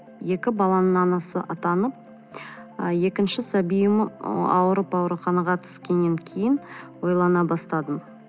екі баланың анасы атанып ы екінші сәбиім ауырып ауруханаға түскеннен кейін ойлана бастадым